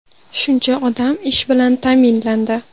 shuncha odam ish bilan ta’minlandi.